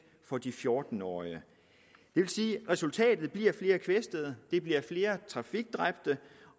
for de fjorten årige det vil sige at resultatet bliver flere kvæstede det bliver flere trafikdræbte